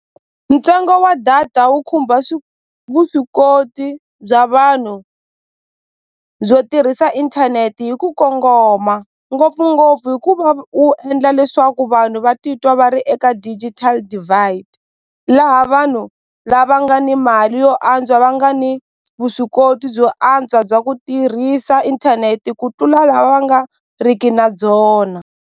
Ntsengo wa data wu khumba vuswikoti bya vanhu byo tirhisa inthaneti hi ku kongoma ngopfungopfu hikuva wu endla leswaku vanhu va titwa va ri eka digital divide laha vanhu lava nga ni mali yo antswa va nga ni vuswikoti byo antswa bya ku tirhisa inthaneti ku tlula lava va nga riki na byona.